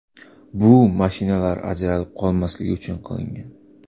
Bu mashinalar ajralib qolmasligi uchun qilingan.